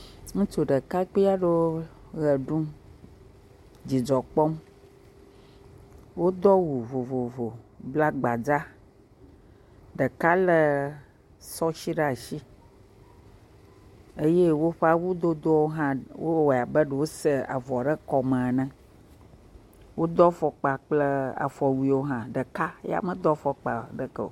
Ŋutsu ɖekakpui eɖewo ʋe ɖum dzidzɔ kpɔm. Wodo awu vovovo bla gbadza. Ɖeka lé sɔshi ɖaa shi eye woƒ awudodowo hã, wowɔe abe ɖe wosa avɔ ɖe kɔme ene. Wodo afɔkpa kple afɔwuiwo hã. Ɖeka ya medo fɔkpa ɖeke o.